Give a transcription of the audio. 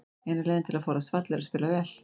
Eina leiðin til að forðast fall er að spila vel.